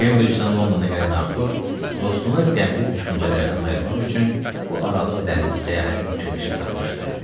Kembricdən Londona gələn Artur dostunu qəmli düşüncələrdən ayırmaq üçün bu aralıq dənizi səyahətini fikirləşib tapmışdı.